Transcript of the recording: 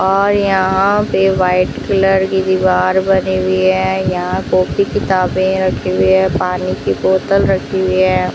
और यहां पे व्हाइट कलर की दीवार बनी हुई है यहां पे काफी किताबें रखी हुई है पानी की बोतल रखी है।